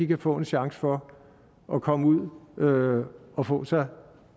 kan få en chance for at komme ud og og få sig